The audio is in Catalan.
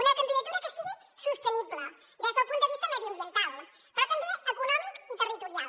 una candidatura que sigui sostenible des del punt de vista mediambiental però també econòmic i territorial